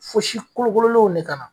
Fo si kolokololenw de ka na.